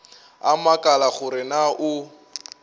a makala gore na o